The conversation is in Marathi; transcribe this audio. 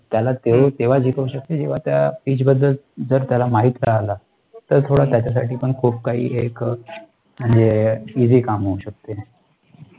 त्याला ते तेव्हा जिंकवू शकते, जेव्हा त्याला त्या PEACH बद्दल जर त्याला माहित राहाला, तर थोडं त्याच्यासाठी पण खूप काही एक म्हणजे EASY काम होऊ शकते.